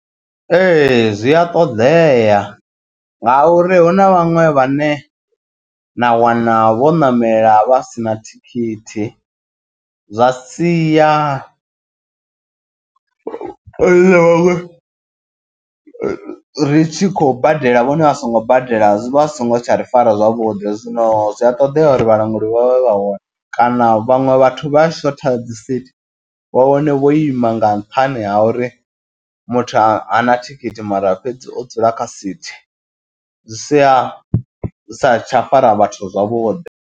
Ee zwi a ṱoḓea nga uri hu na vhaṅwe vhane na wana vho ṋamela vha sina thikhithi. Zwa siya riṋe vhaṅwe ri tshi khou badela vhone asongo badela zwi vha singo tsha ri fara zwavhuḓi. Zwino zwi a ṱoḓea uri vhalanguli vha vhe vha hone kana vhaṅwe vhathu vha a shotha dzi sithi vha wane vho ima nga nṱhani ha uri muthu a na thikhithi mara fhedzi o dzula kha sithi. Zwi sia sa tsha fara vhathu zwavhuḓi.